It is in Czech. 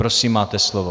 Prosím, máte slovo.